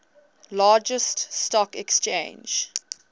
largest stock exchange